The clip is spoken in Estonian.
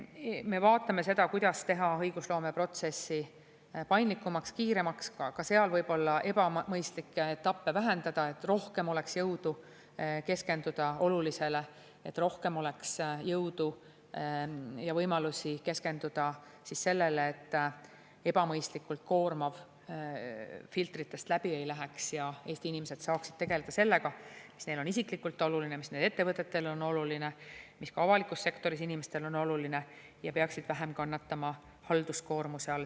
Me vaatame seda, kuidas teha õigusloomeprotsessi paindlikumaks, kiiremaks, ka seal võib-olla ebamõistlikke etappe vähendada, et rohkem oleks jõudu keskenduda olulisele ja rohkem oleks jõudu ja võimalusi keskenduda sellele, et ebamõistlikult koormav filtritest läbi ei läheks ja Eesti inimesed saaksid tegelda sellega, mis neile on isiklikult oluline, mis nende ettevõtetele on oluline, mis on oluline ka avalikus sektoris inimestele, ja et nad peaksid vähem kannatama halduskoormuse all.